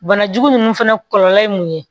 Banajugu ninnu fɛnɛ kɔlɔlɔ ye mun ye